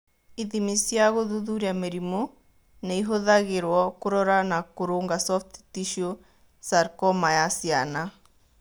Ithimi cia gũthuthuria mĩrimũ nĩ ihũthagĩrũo kũrora na kũrũnga soft tissue sarcoma ya ciana.